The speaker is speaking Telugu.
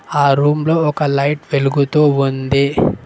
ఆ రూమ్ లో ఒక లైట్ వెలుగుతూ ఉంది.